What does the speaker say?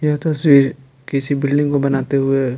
यह तस्वीर किसी बिल्डिंग को बनाते हुए--